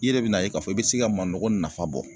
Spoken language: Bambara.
I yɛrɛ bɛ n'a ye k'a fɔ i bɛ se ka manɔgɔ nafa bɔ.